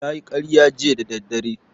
Ya yi karya jiya da daddare